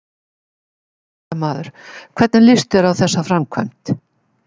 Fréttamaður: Hvernig líst þér á þessa framkvæmd?